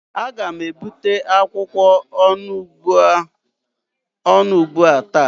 Aga m ebute akwụkwọ onugbu a taa